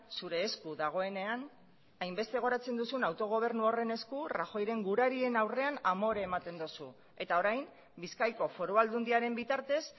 zure esku dagoenean hainbeste goratzen duzun autogobernu horren esku rajoyren gurarien aurrean amore ematen duzu eta orain bizkaiko foru aldundiaren bitartez